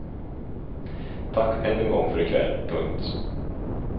Tack än en gång för ikväll. punkt